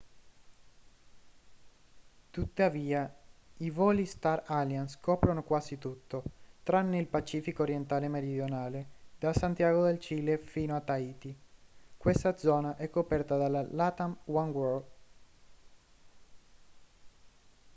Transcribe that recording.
tuttavia il voli star alliance coprono quasi tutto tranne il pacifico orientale meridionale da santiago del cile fino a tahiti questa zona è coperta dalla latam oneworld